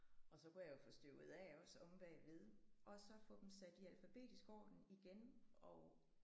Og så kunne jeg jo få støvet af også omme bagved og så få dem sat i alfabetisk orden igen og